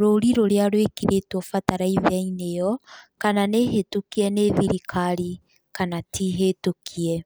rũri rũrĩa rwĩkĩrĩtwo bataraitha-inĩ ĩyo, kana nĩ hĩtũkie nĩ thirikari kana ti hĩtũkie.